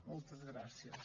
moltes gràcies